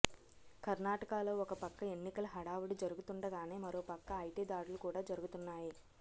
కర్ణాటకలో ఒకపక్క ఎన్నికల హడావుడి జరుగుతుండగానే మరో పక్క ఐటి దాడులు కూడా జరుగుతున్నాయి